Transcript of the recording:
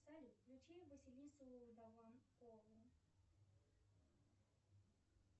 салют включи василису даванкову